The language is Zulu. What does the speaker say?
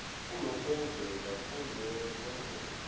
kunokwenzeka kumelwe kwenezelwe